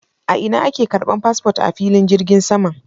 A ina ake ƙarban fasfot a filin jirgin saman?